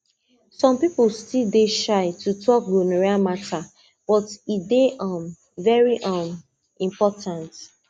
some people still dey shy to talk gonorrhea matter but e dey um very um important